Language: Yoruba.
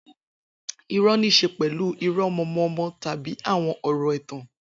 Irọ́ ní í ṣe pẹ̀lú irọ́ mọ̀ọ́mọ̀ọ́mọ̀ tàbí àwọn ọ̀rọ̀ ẹ̀tàn.